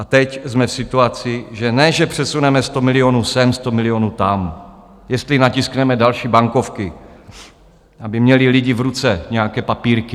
A teď jsme v situaci, že ne že přesuneme 100 milionů sem, 100 milionů tam, jestli natiskneme další bankovky, aby měli lidi v ruce nějaké papírky.